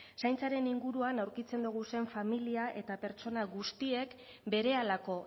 zaintzaren inguruan aurkitzen ditugun familia eta pertsona guztiek berehalako